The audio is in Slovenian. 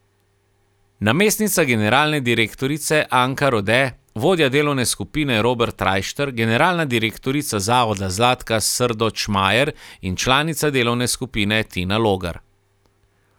Namestnica generalne direktorice Anka Rode, vodja delovne skupine Robert Rajšter, generalna direktorica zavoda Zlatka Srdoč Majer in članica delovne skupine Tina Logar.